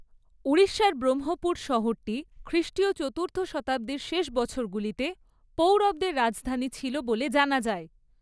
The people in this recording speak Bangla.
ওড়িশার ব্রহ্মপুর শহরটি খ্রিষ্টীয় চতুর্থ শতাব্দীর শেষ বছরগুলিতে পৌরবদের রাজধানী ছিল বলে জানা যায়।